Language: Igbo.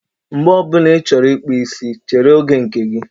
Mgbe ọ bụla ị chọrọ ịkpụ isi, chere oge nke gị.